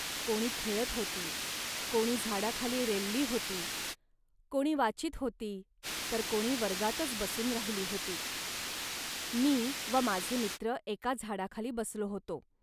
कोणी खेळत होती, कोणी झाडाखाली रेलली होती, कोणी वाचीत होती, तर कोणी वर्गातच बसून राहिली होती. मी व माझे मित्र एका झाडाखाली बसलो होतो